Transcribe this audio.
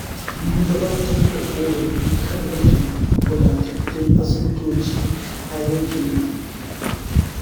Mun gabatar da ƙorafi kan rashin wadatattun asibitoci a yankinmu.